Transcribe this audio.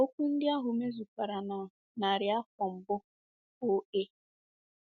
Okwu ndị ahụ mezukwara na narị afọ mbụ O.A.